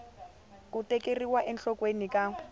ku tekeriwa enhlokweni ka r